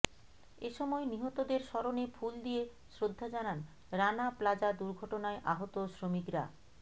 এসময় নিহতদের স্মরণে ফুল দিয়ে শ্রদ্ধা জানান রানা প্লাজা দুর্ঘটনায় আহত শ্রমিকরা